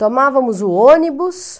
Tomávamos o ônibus...